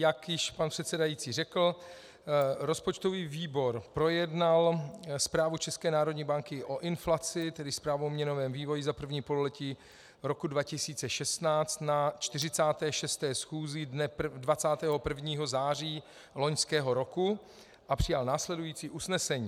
Jak již pan předsedající řekl, rozpočtový výbor projednal Zprávu České národní banky o inflaci, tedy Zprávu o měnovém vývoji za první pololetí roku 2016, na 46. schůzi dne 21. září loňského roku a přijal následující usnesení: